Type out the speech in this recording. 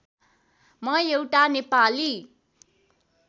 म एउटा नेपाली